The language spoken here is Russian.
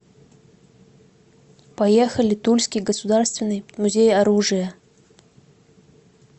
поехали тульский государственный музей оружия